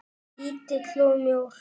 Lítill og mjór.